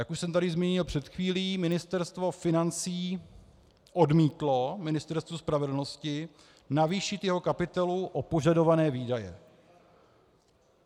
Jak už jsem tady zmínil před chvílí, Ministerstvo financí odmítlo Ministerstvu spravedlnosti zvýšit jeho kapitolu o požadované výdaje.